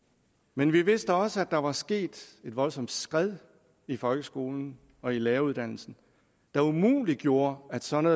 men vi vidste også at der var sket et voldsomt skred i folkeskolen og i læreruddannelsen der umuliggjorde at sådan